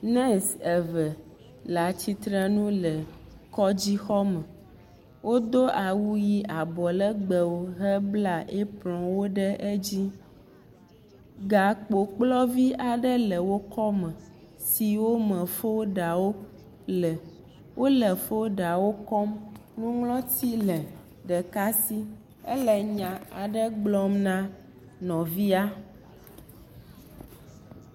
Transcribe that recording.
Nurse eve le atsitre ŋu le kɔdzi xɔ me. Wodo awu ʋi abɔ legbɔ he bla apronwo ɖe edzi. Gakpo kplɔvi aɖe le wo kɔ me siwo me folda wo le. Wole folda wo kɔm. nuŋlɔti le ɖeka si, ele nya aɖe gblɔm na nɔvia